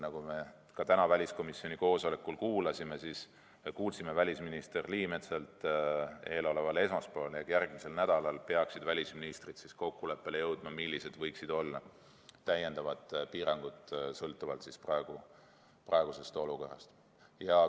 Nagu me täna väliskomisjoni koosolekul välisminister Liimetsalt kuulsime, peaksid eeloleval esmaspäeval ehk järgmisel nädalal välisministrid jõudma kokkuleppele, millised võiksid olla täiendavad piirangud sõltuvalt praegusest olukorrast.